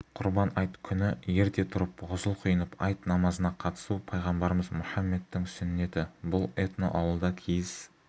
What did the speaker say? құрбан айт күні ерте тұрып ғұсыл құйынып айт намазына қатысу пайғамбарымыз мұхаммедтің сүннеті бұл этноауылда киіз